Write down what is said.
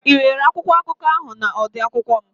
Ị nwere akwụkwọ akụkọ ahụ na odu akwụkwọ m?